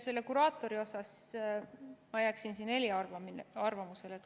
Nüüd, kuraatori puhul ma jääksin siin eriarvamusele.